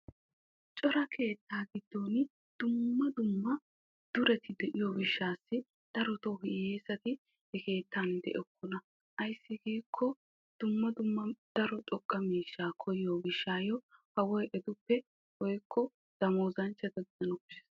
Cora keetta giddon dumma dumma duretti de'iyo gishawu hiyessatti de'okkonna ayssi giikko kawoy etta damooza miyaagetta kessi agees.